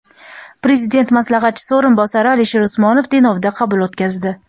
Prezident maslahatchisi o‘rinbosari Alisher Usmonov Denovda qabul o‘tkazdi.